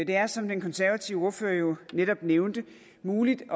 er som den konservative ordfører jo netop nævnte muligt